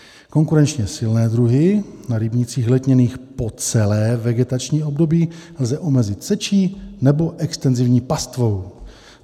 Konkurenčně silné druhy na rybnících letněných po celé vegetační období lze omezit sečí nebo extenzivní pastvou.